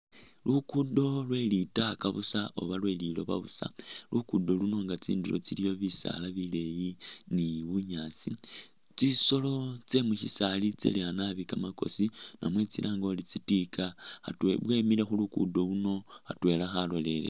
Lukuudo lwe litaka busa oba lwe liloba busa, luguudo luno nga tsindulo iliyo bisaala bileeyi ni bunyasi. Tsisolo tse mu shisaali tsaleya naabi kamakosi namwe tsilange uri tsi tika tsemile khu lukuudo luno khatwela khalolele ino.